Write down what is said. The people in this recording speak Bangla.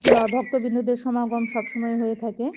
বা ভক্তবৃন্দদের সমাগম সবসময় হয়ে থাকে।